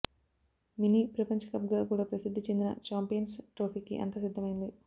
mini ప్రపంచకప్గా కూడా ప్రసిద్ధి చెందిన ఛాంపియన్స్ ట్రోఫీకి అంతా సిద్ధమైంది